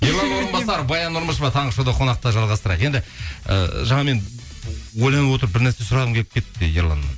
ерлан орынбасар баян нұрмышева таңғы шоуда қонақта жалғастырайық енді ііі жаңа мен ойланып отырып бір нәрсе сұрағым келіп кетті ерланнан